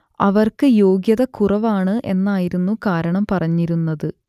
അവർക്ക് യോഗ്യത കുറവാണ് എന്നായിരുന്നു കാരണം പറഞ്ഞിരുന്നത്